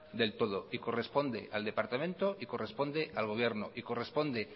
del todo corresponde al departamento corresponde al gobierno y corresponde